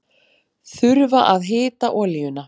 Þurfa að hita olíuna